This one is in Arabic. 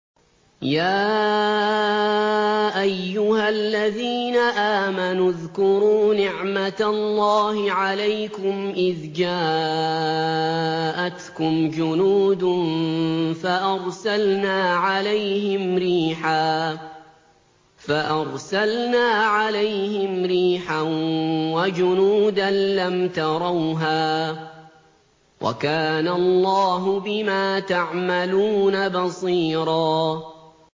يَا أَيُّهَا الَّذِينَ آمَنُوا اذْكُرُوا نِعْمَةَ اللَّهِ عَلَيْكُمْ إِذْ جَاءَتْكُمْ جُنُودٌ فَأَرْسَلْنَا عَلَيْهِمْ رِيحًا وَجُنُودًا لَّمْ تَرَوْهَا ۚ وَكَانَ اللَّهُ بِمَا تَعْمَلُونَ بَصِيرًا